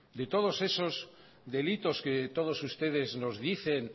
de todos esos delitos que todos ustedes nos dicen